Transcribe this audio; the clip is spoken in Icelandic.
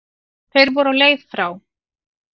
Þeir voru á leið frá